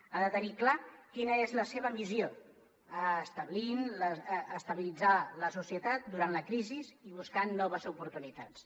ha de tenir clar quina és la seva missió estabilitzar la societat durant la crisi i buscar noves oportunitats